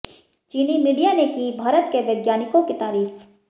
चीनी मीडिया ने की भारत के वैज्ञानिकों की तारीफ